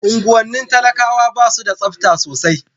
unguwannin talakawa basu da tsafta sosai